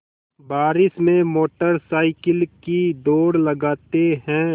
बारिश में motorcycle की दौड़ लगाते हैं